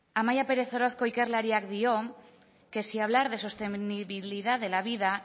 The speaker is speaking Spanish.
amaia pérez orozco ikerlariak dio que si hablar de estabilidad de la vida